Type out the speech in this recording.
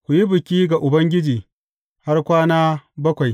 Ku yi biki ga Ubangiji har kwana bakwai.